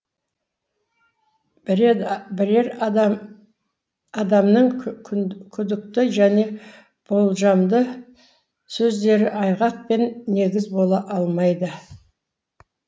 бірер адамның күдікті және болжамды сөздері айғақ пен негіз бола алмайды